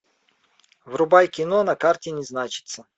врубай кино на карте не значится